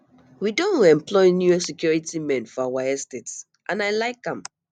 we don um employ new security men for our estate and i like am